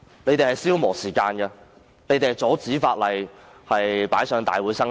他們是在消磨時間，阻止法案提交立法會通過。